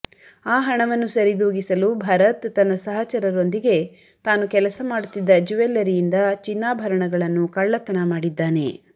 ಆ ಹಣವನ್ನು ಸರಿದೂಗಿಸಲು ಭರತ್ ತನ್ನ ಸಹಚರರೊಂದಿಗೆ ತಾನು ಕೆಲಸ ಮಾಡುತ್ತಿದ್ದ ಜ್ಯುವೆಲ್ಲರಿಯಿಂದ ಚಿನ್ನಾಭರಣಗಳನ್ನು ಕಳ್ಳತನ ಮಾಡಿದ್ದಾನೆ